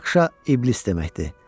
Rakşa iblis deməkdir.